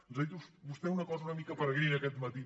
ens ha dit vostè una cosa una mica peregrina aquest matí